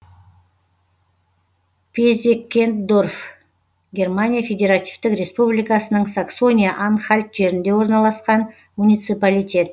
пезеккендорф германия федеративтік республикасының саксония анхальт жерінде орналасқан муниципалитет